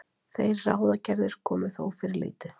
Þær ráðagerðir komu þó fyrir lítið.